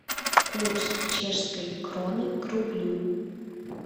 курс чешской кроны к рублю